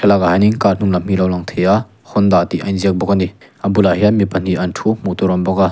thlalakah hianin car hnung lam hi alo lang theih a honda tih a in ziak bawk a ni a bulah hian mi pahnih an thu hmuh tur a awm bawk a.